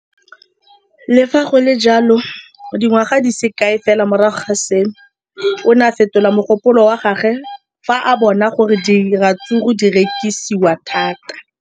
Le fa go le jalo, dingwaga di se kae fela morago ga seno, o ne a fetola mogopolo wa gagwe fa a bona gore diratsuru di rekisiwa thata.